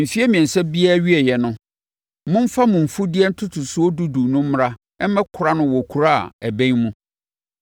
Mfeɛ mmiɛnsa biara awieeɛ no, momfa mo mfudeɛ ntotosoɔ dudu no mmra mmɛkora no wɔ kuro a ɛbɛn mu.